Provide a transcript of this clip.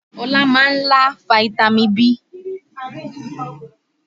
Ọlá máa ń lá fitami B